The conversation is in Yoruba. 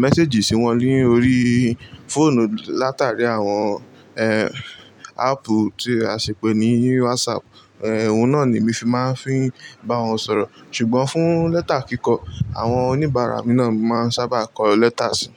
mẹ́séjì sí wọn lórí fóònù látàrí àwọn, áàpù tí a ṣi pè ní WhatsApp. Ohun náà ni mi se máa ń fi n bá wọn sọ̀rọ̀. Ṣùgbọ́n fún lẹ́tà kíkọ, àwọn oníbàárà mi náà ni mo máa ń sábà kọ lẹ́tà sí.